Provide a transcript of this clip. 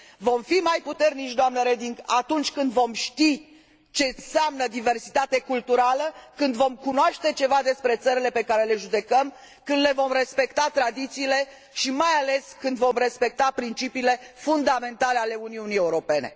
Vom fi mai puternici, doamnă Reding, atunci când vom ști ce înseamnă diversitate culturală, când vom cunoaște ceva despre țările pe care le judecăm, când le vom respecta tradițiile și, mai ales, când vom respecta principiile fundamentale ale Uniunii Europene.